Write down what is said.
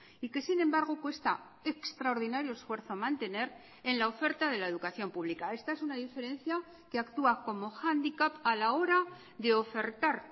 y que sin embargo cuesta extraordinario esfuerzo mantener en la oferta de la educación pública esta es una diferencia que actúa como hándicap a la hora de ofertar